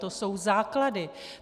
To jsou základy.